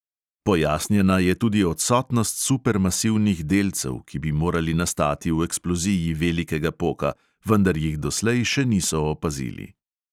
Pojasnjena je tudi odsotnost supermasivnih delcev, ki bi morali nastati v eksploziji velikega poka, vendar jih doslej še niso opazili.